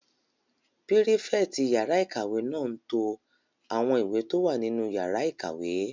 Pírífẹ̀tì yàrá-ìkàwé náà n to àwọn ìwé tó wà nínú yàrá ìkàwé